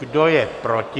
Kdo je proti?